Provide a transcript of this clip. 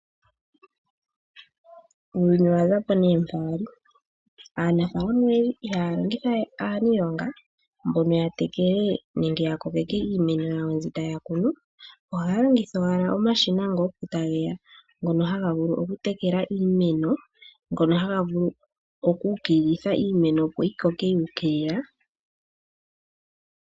Uuyuni owaza po nee mpa wali. Aanafaalama oyendji ihaya longitha we aaniilonga mbono ya tekele nenge ya kokeke iimeno yawo mbi taya kunu, ohaya longitha owala omashina nga opo ta ge ya, ngono haga vulu okutekela iimeno, ngono haga vulu oku ukililitha iimeno opo yi koke yuukilila.